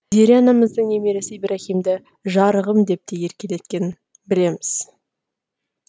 зере анамыздың немересі ибраһимді жарығым деп те еркелеткенін білеміз